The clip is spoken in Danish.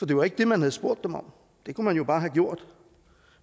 det var ikke det man havde spurgt dem om det kunne man jo bare have gjort